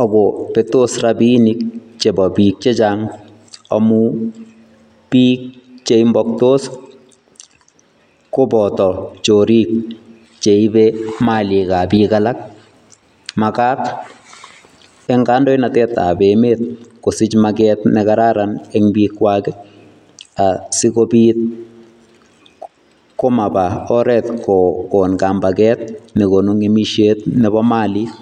ak kobetos rabiinik chepo biik chechang amu biik cheimpaktos koboto chorik cheibe malikap biik alak. Makat eng kandoinatetap emet kosich maket nekararan eng biikwak, um sikobit komapa oret kokon kampaket nekonu ng'emishet nepo malik.